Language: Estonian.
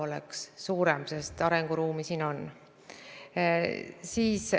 Tuleb silmas pidada, et Sotsiaalministeeriumist kadus ühe ministri funktsioon ära, sest see kandus üle Siseministeeriumisse.